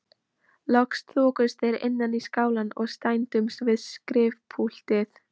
Loks þokuðust þeir innar í skálann og staðnæmdust við skrifpúltið.